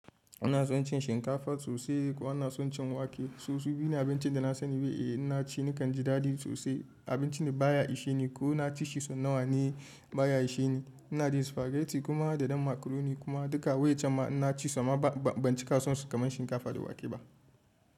Ina son cin shinkafa sosai kuma ina son cin wake. Susu biyu ne abincin da na sani. In na ci nakan ji dadi sosai. Abinci ne baya isheni ko na ci shi sau nawa ne baya isheni. Ina jin spaghetti kuma da dam makaroni kuma duka waye can ma ina ci su bancika sonsu kamar shinkafa da wake ba.